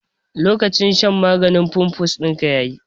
Lokacin shan maganin fimfus dinka yayi